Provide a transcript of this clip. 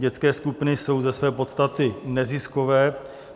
Dětské skupiny jsou ze své podstaty neziskové.